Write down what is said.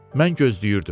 Mən gözləyirdim.